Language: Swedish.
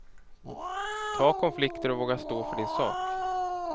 Ta konflikter och våga stå för din sak.